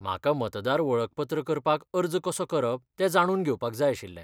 म्हाका मतदार वळखपत्र करपाक अर्ज कसो करप तें जाणून घेवपाक जाय आशिल्लें.